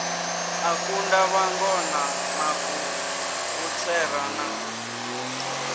a kunda vhangona maguvhutswera na